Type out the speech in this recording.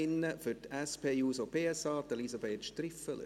Für die SP-JUSOPSA-Fraktion: Elisabeth Striffeler.